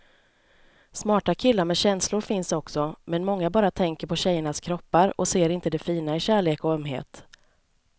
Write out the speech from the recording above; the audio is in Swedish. Smarta killar med känslor finns också, men många bara tänker på tjejernas kroppar och ser inte det fina i kärlek och ömhet.